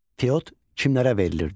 Fiot kimlərə verilirdi?